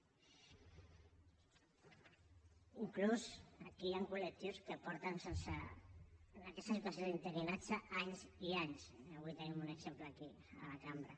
inclús hi han col·lectius que porten en aquesta situació d’interinatge anys i anys i avui en tenim un exemple aquí a la cambra